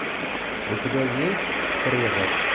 у тебя есть трезор